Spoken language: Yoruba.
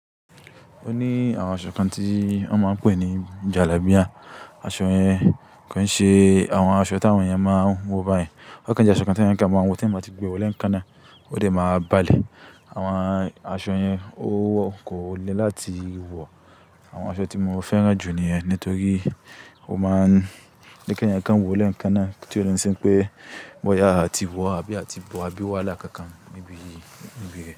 Ó ní àwọn aṣọ kan tí wọ́n máa ń pè ní jalábíà. Aṣọ yẹn kì n ṣe àwọn aṣọ tí àwọn èèyàn máa ń wọ báyìí. O kan jẹ́ aṣọ kan tí ẹyan kan máa wọ, tí ń bá ti gbe wọ lékan náà ó dẹ̀ máa balẹ̀. Àwọn aṣọ yẹn ó wọ, kò le láti wọ̀. Àwọn aṣọ tí mo fẹ́ràn jù niyẹn, nítorí ó máa ń je ẹeyan kan wọ lékan náà kí tí ó lè sí pé bóyá a ti wọ̀, àbí a ti bọ̀, àbí wàhala kànkàn níbi, níbi rẹ̀